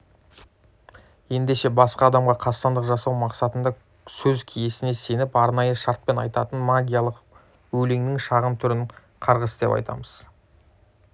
ендеше басқа адамға қастандық жасау мақсатында сөз киесіне сеніп арнайы шартпен айтатын магиялық өлеңнің шағын түрін қарғыс деп атаймыз